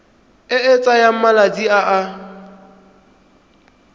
e e tsayang malatsi a